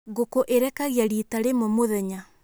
Ngũkũ ĩrekagia rita rĩmwe mũthenya.